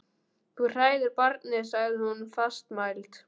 Þú hræðir barnið, sagði hún fastmælt.